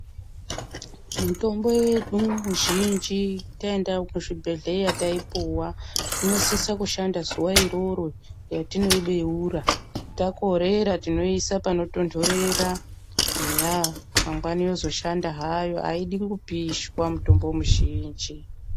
Mitombo yedu muzhinji taenda kuzvibhedhleya taipuwa inosisa kushanda zuva iroro ratinoibeura. Takorera tinoiisa panotondorera, eya mangwani yozoshanda hayo. Haiti kupishwa mitombo mizhinji.